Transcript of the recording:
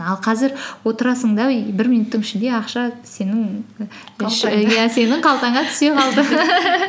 ал қазір отырасың да и бір минуттың ішінде ақша сенің сенің қалтаңа түсе қалды